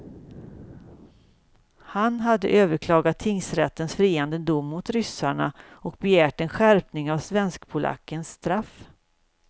Han hade överklagat tingsrättens friande dom mot ryssarna och begärt en skärpning av svenskpolackens straff.